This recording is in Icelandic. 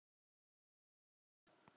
Hvað með þína stöðu?